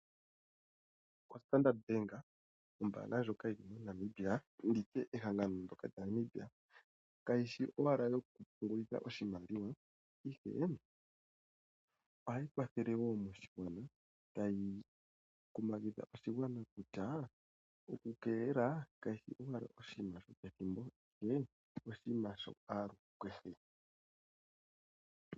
Standard Bank, ombanga ndjoka yili moNamibia nenge nditye ehangano lya Namibia, kayishi owala yokupungulila oshimaliwa ashike ohayi kwathele wo oshigwana tayi kumagidha oshigwana kutya oku keelela kaku shi owala oshinima shopakathimbo ihe oshinima shaaluhe.